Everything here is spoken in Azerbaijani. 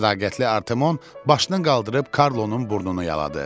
Sədaqətli Artemon başını qaldırıb Karlonun burnunu yaladı.